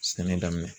Sɛnɛ daminɛ